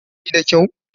Kina gani da kyau?